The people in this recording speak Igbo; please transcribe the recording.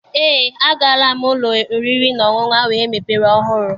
Eé, agaala m n'ụlọ oriri na ọṅụṅụ ahụ emepere ọhụrụ.